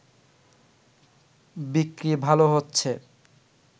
বিক্রি ভালো হচ্ছে